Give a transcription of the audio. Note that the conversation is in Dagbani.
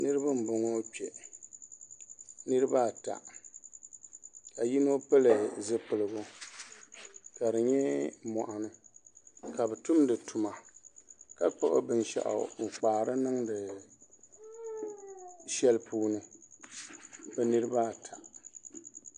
Niraba n boŋo kpɛ niraba ata ka yino pili zipiligu ka di nyɛ moɣani ka bi tumdi tuma ka gbuni binshaɣu n kpaari niŋdi shɛli puuni bi niraba ata